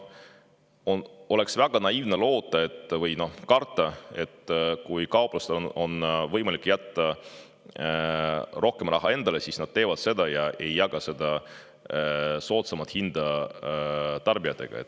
Oleks väga naiivne karta, et kui kauplustel on võimalik jätta rohkem raha endale, siis nad teevad seda ega jaga soodsamat hinda tarbijatega.